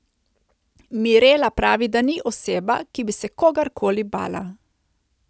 Mirela pravi, da ni oseba, ki bi se kogar koli bala.